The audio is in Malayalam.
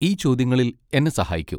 ഈ ചോദ്യങ്ങളിൽ എന്നെ സഹായിക്കൂ.